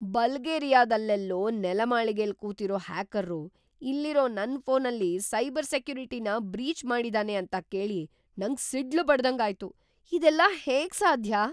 ಬಲ್ಗೇರಿಯಾದಲ್ಲೆಲ್ಲೋ ನೆಲಮಾಳಿಗೆಲ್ ಕೂತಿರೋ ಹ್ಯಾಕರ್ರು ಇಲ್ಲಿರೋ ನನ್ ಫೋನಲ್ಲಿ ಸೈಬರ್ ಸೆಕ್ಯುರಿಟಿನ ಬ್ರೀಚ್‌ ಮಾಡಿದಾನೆ ಅಂತ ಕೇಳಿ ನಂಗ್‌ ಸಿಡ್ಲ್‌ ಬಡ್ದಂಗಾಯ್ತು! ಇದೆಲ್ಲ ಹೇಗ್‌ ಸಾಧ್ಯ?!